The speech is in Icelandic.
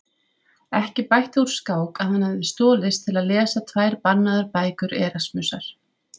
Ekki bætti úr skák að hann hafði stolist til að lesa tvær bannaðar bækur Erasmusar.